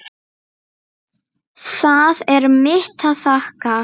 Það er mitt að þakka.